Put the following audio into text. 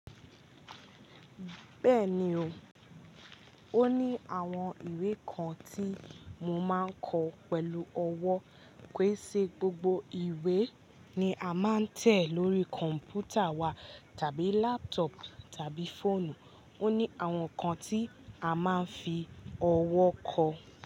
Bẹ́ẹ̀ni o. Ó ní àwọn ìwé kan tí mo máa ń kọ pẹ̀lú ọwọ́, ké ṣe gbogbo ìwé ni a máa ń tẹ̀ lórí kọ̀npútà wa tàbí laptop tàbí fóònù. Ó ní àwọn kan tí a máa ń fi ọwọ́ kọ.